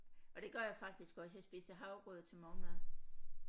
Og det gør jeg faktisk også jeg spiser havregrød til morgenmad